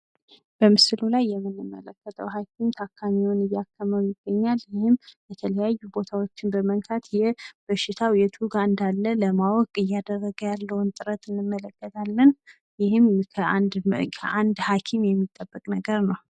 በምስል ላይ የምንመለከተው ሃኪም ታካሚውን እያከመው ይገኛል። ይህም የተለያዩ ቦታዎችን በመንካት የበሽታው የቱ ጋ እንዳለ ለማወቅ እያደረገ ያለውን ጥረት እንመለከታለን ይህም ከአንድ ሀኪም የሚጠበቅ ነገር ነው።